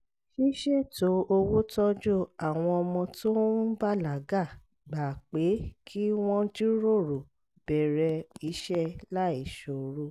ṣíṣètò owó tọ́jú àwọn ọmọ tó ń bàlágà gba pé kí wọ́n jíròrò bẹ̀rẹ̀ iṣẹ́ láìṣòro